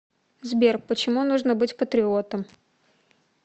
сбер почему нужно быть патриотом